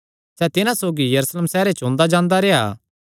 सैह़ तिन्हां सौगी यरूशलेम सैहरे च ओंदा जांदा रेह्आ